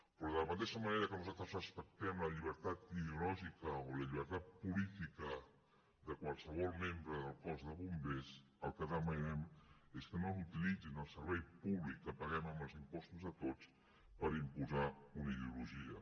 però de la mateixa manera que nosaltres respectem la llibertat ideològica o la llibertat política de qualsevol membre del cos de bombers el que demanem és que no utilitzin el servei públic que paguem amb els impostos de tots per imposar una ideologia